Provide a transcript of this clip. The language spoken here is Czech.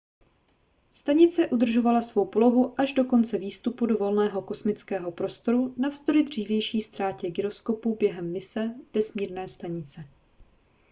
stanice udržovala svou polohu až do konce výstupu do volného kosmického prostoru navzdory dřívější ztrátě gyroskopu během mise vesmírné stanice